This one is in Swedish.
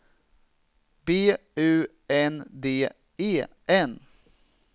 B U N D E N